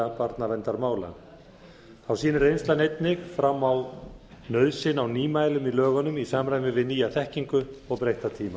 barnaverndarmála þá sýnir reynslan einnig fram á nauðsyn á nýmælum í lögunum í samræmi við nýja þekkingu og breytta tíma